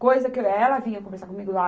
Coisa que ela vinha conversar comigo lá.